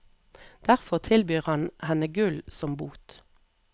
Derfor tilbyr han henne gull som bot.